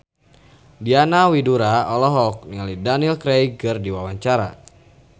Diana Widoera olohok ningali Daniel Craig keur diwawancara